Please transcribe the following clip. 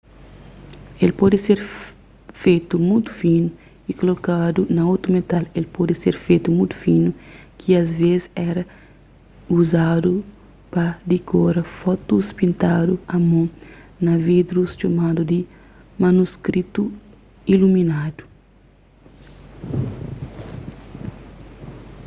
el pode ser fetu mutu finu y koladu na otu metal el pode ser fetu mutu finu ki asvês éra uzadu pa dikora fotus pintadu a mon na livrus txomadu di manuskritu iluminadu